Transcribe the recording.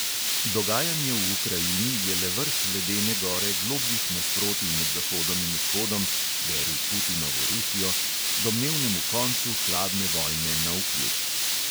Dogajanje v ukrajini je le vrh ledene gore globljih nasprotij med zahodom in vzhodom (beri: putinovo rusijo), domnevnemu koncu hladne vojne navkljub.